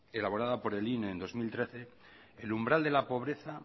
elaborado por el inem en el dos mil trece el umbral de la pobreza